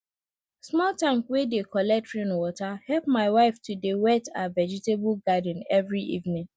small tank wey dey collect rainwater help my wife to dey wet her vegetable garden every evening